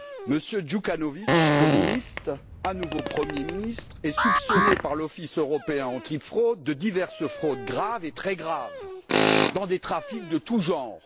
Monsieur Djukanovic, communiste, à nouveau Premier ministre, est soupçonné par l'Office européen de lutte antifraude de diverses fraudes graves et même très graves dans des trafics en tous genres.